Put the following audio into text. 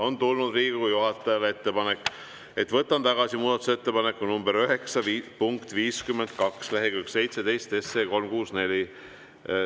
On tulnud Riigikogu juhatajale ettepanek: võtan tagasi muudatusettepaneku nr 9 punkti 52, lehekülg 17, SE 364.